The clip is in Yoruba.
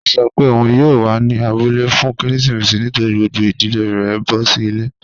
Ọ̀ sọ́ pé ọun yóò wà ní àbúlẹ̀ fún kérésìmésì nítorí gbogbo ìdílẹ̀ rẹ̀ n bọ̀ sí ilẹ̀.